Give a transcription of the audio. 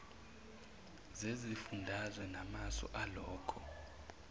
zesifundazwe namasu alokho